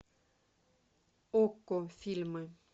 окко фильмы